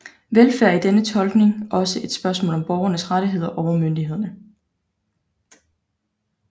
Velfærd er i denne tolkning også et spørgsmål om borgernes rettigheder overfor myndighederne